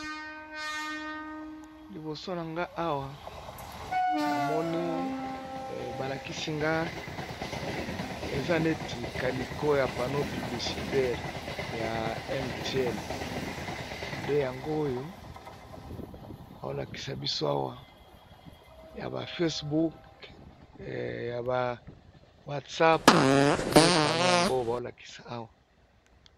Liboso na nga awa na moni balakisi nga eza neti kaliko ya pano piblicitaire ya m tien nde yango oyo baolakisa biso awa ya ba facebook ya ba watsap nde pano yango baolakisa awa.